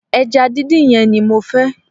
Eja díndín yen ni mo fe